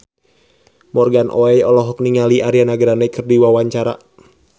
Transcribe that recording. Morgan Oey olohok ningali Ariana Grande keur diwawancara